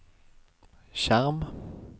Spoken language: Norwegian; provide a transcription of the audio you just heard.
skjerm